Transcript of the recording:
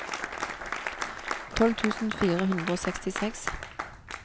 tolv tusen fire hundre og sekstiseks